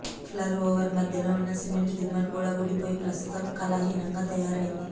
ఫ్లరు over మధ్యలో ఉన్న cement దిమ్మెలు కూడా ఊడిపోయి ప్రస్తుతం కళాహీనంగా తయారైంది